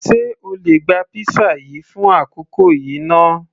sé o lè gba pizza yìí fún àkókò yìí náà